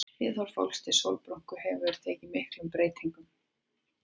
Viðhorf fólks til sólbrúnku hefur tekið miklum breytingum.